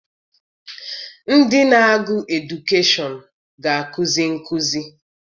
Ndị na-agụ edukeshọn ga- akụzi nkụzi.